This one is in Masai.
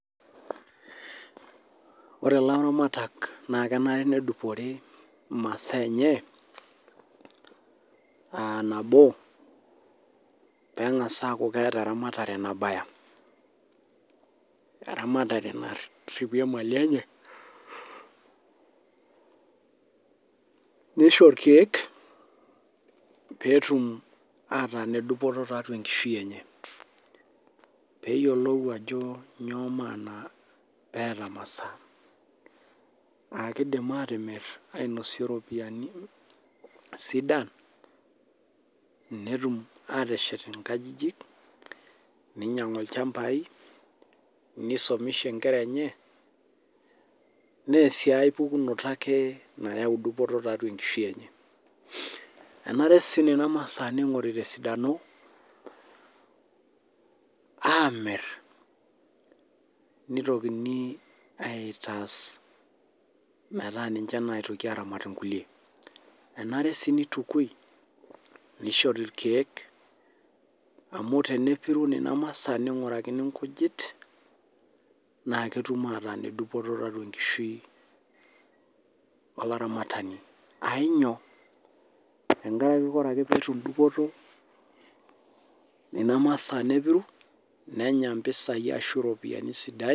Ore ilaramatak naa kenare nedupore masaa enye.aa nabo pee engas aaku keeta eramatare nabaya. eramatare naripie mali enye. nisno ilkeek pee etum ataa ine dupoto tiatua enkishui enye. peeyiolou ajo inyoo maana peeta masaa.aa kidim ainosie iropiyiani sidan.net aateshet nkajijik. ninyiang'u ilchampai ,nisomesha nkera enye. neyau sii aepukunoto ake nayau dupoto tiatua enkishui enye..enare sii Nena masaa ningoru tesidano amir. neotokini aitaas metaa ninche naitoki aaramat inkulie. enare sii nitukui. nishori irkeek. amu teneporu Nena masaa ningurakini nkujit. naa metum ataa ine Dupoto tiatua enkishui olaramatani. ainyio , tenkaraki ore ake pee etum Dupoto Nena masaa nepiru netum mpisai sidain